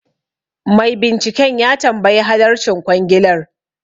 Mai binciken ya tambayi halarcin kwangilar